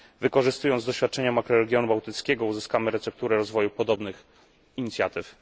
Wykorzystując doświadczenia makroregionu bałtyckiego, uzyskamy recepturę rozwoju podobnych inicjatyw.